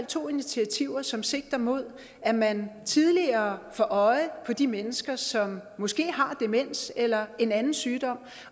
to initiativer som sigter mod at man tidligere får øje på de mennesker som måske har demens eller en anden sygdom